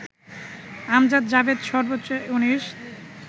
আমজাদ জাভেদ সর্বোচ্চ ১৯